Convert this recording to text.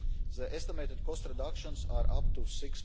The estimated cost reductions are up to EUR